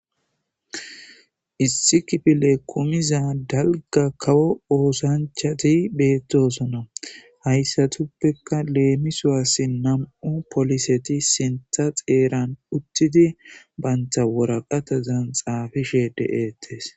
Issi kifile kumiza dalga kawo oosanchati beettosona hayssatuppekka leemisoassi nam7u poliseti sintha xeeran uttidi baynta woraqata zanxaafishe deettes.